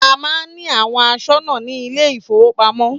A má ń ní àwọn aṣọ́nà ní ilé ìfọwọ́pamo.